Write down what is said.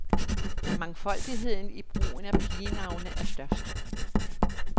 Mangfoldigheden i brugen af pigenavne er størst.